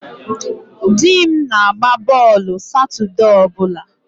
Di m na-agba bọọlụ Satọde ọ bụla.